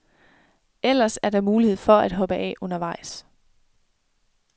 Ellers er der mulighed for at hoppe af undervejs.